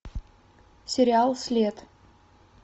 сериал след